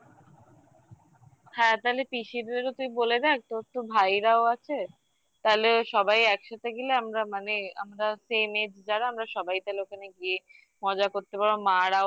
হ্যাঁ তাহলে পিসিদেরও তুই বলে দেখ তোর তো ভাইরাও আছে তাহলে সবাই একসাথে গেলে আমরা মানে আমরা same age যারা আমরা সবাই তাহলে ওখানে গিয়ে মজা করতে পারো মা রাও